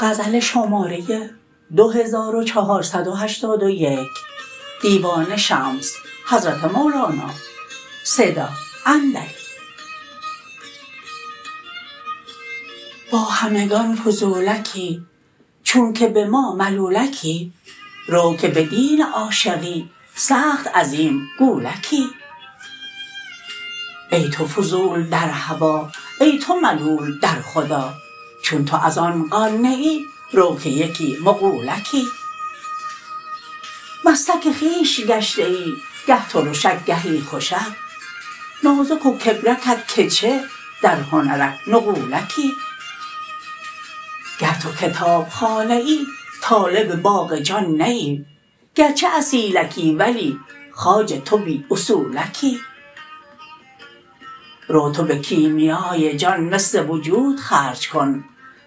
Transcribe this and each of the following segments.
با همگان فضولکی چون که به ما ملولکی رو که بدین عاشقی سخت عظیم گولکی ای تو فضول در هوا ای تو ملول در خدا چون تو از آن قان نه ای رو که یکی مغولکی مستک خویش گشته ای گه ترشک گهی خوشک نازک و کبرکت که چه در هنرک نغولکی گر تو کتاب خانه ای طالب باغ جان نه ای گرچه اصیلکی ولی خواجه تو بی اصولکی رو تو به کیمیای جان مس وجود خرج کن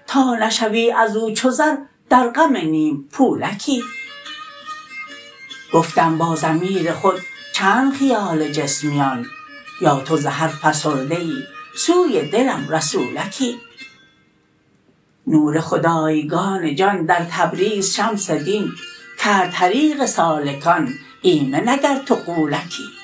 تا نشوی از او چو زر در غم نیم پولکی گفتم با ضمیر خود چند خیال جسمیان یا تو ز هر فسرده ای سوی دلم رسولکی نور خدایگان جان در تبریز شمس دین کرد طریق سالکان ایمن اگر تو غولکی